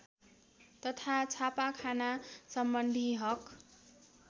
तथा छापाखानासम्बन्धी हक